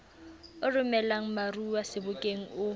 o romelang baromuwa sebokeng o